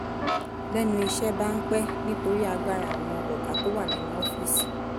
lẹ́nu iṣẹ́ bá ń pẹ́ nítorí agbára àwọn ọ̀gá tó wà nínú ọ́fíìsì